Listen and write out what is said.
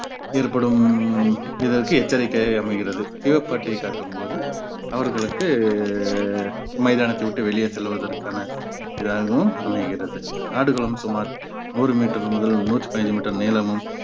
ஏற்படும் இதற்கு எச்சரிக்கையாய் அமைகிறது சிவப்பு அட்டையை காட்டும்போது அவர்களுக்கு மைதானத்தை விட்டு வெளியே செல்வதற்கான இதாகவும் அமைகிறது ஆடுகளும் சுமார் நூறு மீட்டர் முதல் நூத்தி பதினஞ்சு மீட்டர் நீளமும்